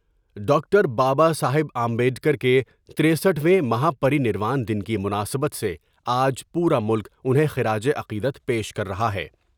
Doctor Baba Saheb Ambedkar کے ترسٹھ ویں مہا پری نروان دن کی مناسبت سے آج پورا ملک انہیں خراج عقیدت پیش کر رہا ہے ۔